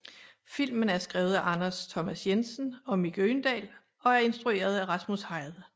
Filmen er skrevet af Anders Thomas Jensen og Mick Øgendahl og er instrueret af Rasmus Heide